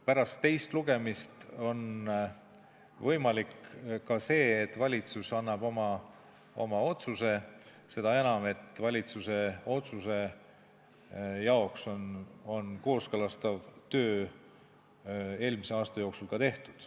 Pärast teist lugemist on võimalik ka see, et valitsus annab oma otsuse – seda enam, et valitsuse otsuse jaoks on kooskõlastav töö eelmise aasta jooksul ära tehtud.